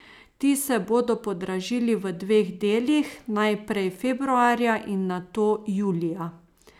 Ti se bodo podražili v dveh delih, najprej februarja in nato julija.